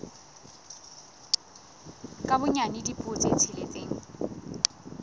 ka bonyane dipuo tse tsheletseng